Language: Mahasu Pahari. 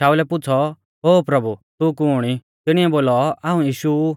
शाऊलै पुछ़ौ ओ प्रभु तू कुण ई तिणीऐ बोलौ हाऊं यीशु ऊ